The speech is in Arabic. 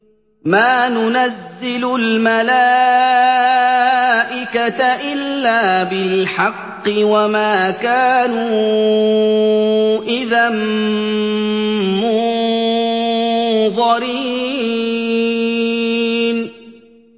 مَا نُنَزِّلُ الْمَلَائِكَةَ إِلَّا بِالْحَقِّ وَمَا كَانُوا إِذًا مُّنظَرِينَ